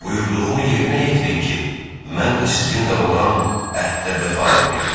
Buyurduğumu yerinə yetirin ki, mən də sizinlə olan əhdə vəfa edim.